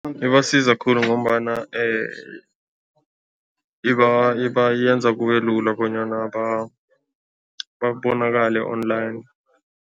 Ibasiza khulu ngombana ibayenza kube lula, bonyana babonakale online.